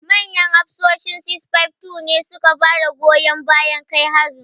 Manyan hafsoshi 652 ne su ka goyi bayan kai harin.